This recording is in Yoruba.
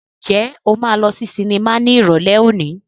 Ǹjẹ́ o máa lọ sí sinimá ní Ìrọ̀lẹ́ òní?